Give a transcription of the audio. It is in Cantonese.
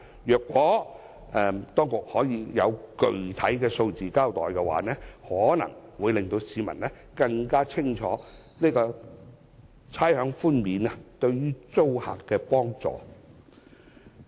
如果當局可以交代具體的數字，可能會令市民更清楚知道差餉寬免對租客的幫助。